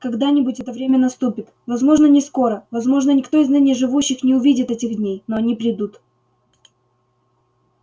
когда-нибудь это время наступит возможно не скоро возможно никто из ныне живущих не увидит этих дней но они придут